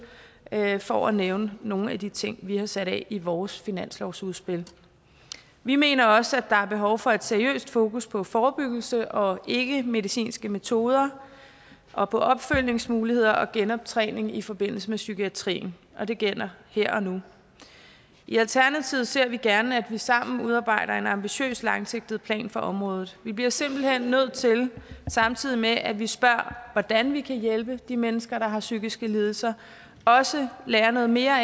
er bare for at nævne nogle af de ting vi har sat af i vores finanslovsudspil vi mener også at der er behov for et seriøst fokus på forebyggelse og ikkemedicinske metoder og på opfølgningsmuligheder og genoptræning i forbindelse med psykiatrien og det gælder her og nu i alternativet ser vi gerne at vi sammen udarbejder en ambitiøs langsigtet plan for området vi bliver simpelt hen nødt til samtidig med at vi spørger hvordan vi kan hjælpe de mennesker der har psykiske lidelser også at lære noget mere